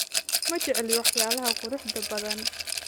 Ma jecli waxyaalaha quruxda badan